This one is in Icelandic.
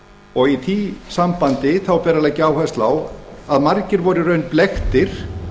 og í því sambandi ber að leggja áherslu á að margir voru í raun blekktir